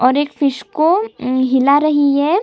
और एक फिश को अम्म हिला रही है।